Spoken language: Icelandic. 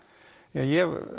ég